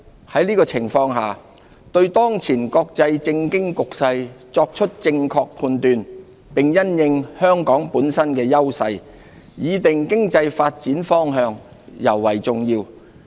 在這情況下，對當前國際政經局勢作出正確判斷，並因應香港本身的優勢，擬訂經濟發展方向，尤為重要。